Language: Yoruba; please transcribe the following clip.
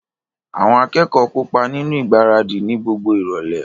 Àwọn akẹ́kọ̀ọ́ kópa nínú ìgbáradì ni gbogbo ìrọ̀lẹ́